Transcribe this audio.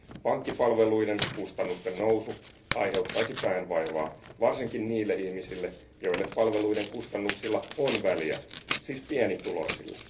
Pankkipalveluiden kustannusten nousu aiheuttaisi päänvaivaa varsinkin niille ihmisille, joille palveluiden kustannuksilla on väliä, siis pienituloisille.